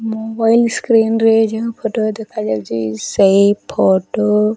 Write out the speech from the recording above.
mobile screen ରେ ଯେଉଁ ପଟ ଦେଖାଯାଉଚି ସେଇ ଫଟୋ --